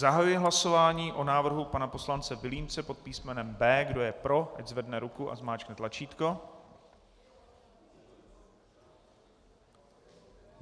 Zahajuji hlasování o návrhu pana poslance Vilímce pod písmenem B. Kdo je pro, ať zvedne ruku a zmáčkne tlačítko.